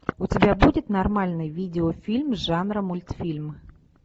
у тебя будет нормальный видеофильм жанра мультфильм